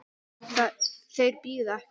Þeir bíða ekki.